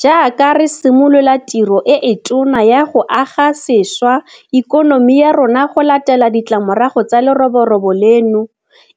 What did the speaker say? Jaaka re simolola tiro e e tona ya go aga sešwa ikonomi ya rona go latela ditlamorago tsa leroborobo leno,